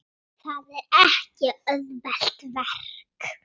Það er ekki auðvelt verk.